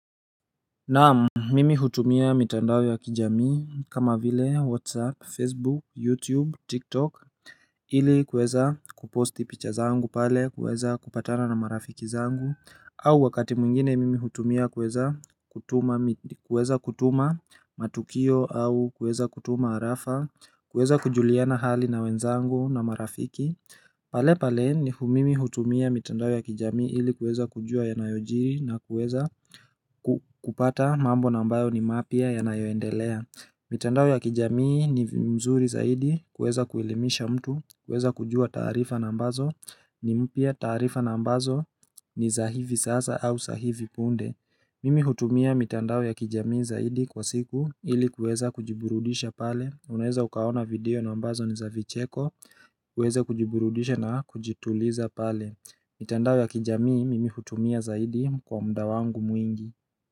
Na mimi hutumia mitandao ya kijami kama vile whatsapp, facebook, youtube, tiktok ili kweza kuposti picha zangu pale kweza kupatana na marafiki zangu au wakati mwingine mimi hutumia kweza kutuma matukio au kweza kutuma harafa Kweza kujuliana hali na wenzangu na marafiki pale pale ni hu mimi hutumia mitandao ya kijami ili kweza kujua yanayojiri na kweza kupata mambo nambayo ni mapia yanayoendelea mitandao ya kijami ni mzuri zaidi kweza kuelimisha mtu kuweza kujua taarifa nambazo ni mpia taarifa nambazo ni za hivi sasa au za hivi punde Mimi hutumia mitandao ya kijamii zaidi kwa siku ili kweza kujiburudisha pale Unaweza ukaona video nambazo ni za vicheko kuweza kujiburudisha na kujituliza pale mitandao ya kijamii mimi hutumia zaidi kwa mda wangu mwingi.